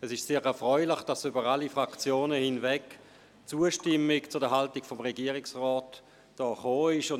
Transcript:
Es ist sehr erfreulich, dass über alle Fraktionen hinweg die Zustimmung zur Haltung des Regierungsrats zu hören war.